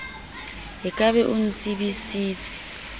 o ka be o ntsebisitse